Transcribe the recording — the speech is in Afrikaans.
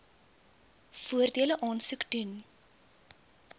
voordele aansoek doen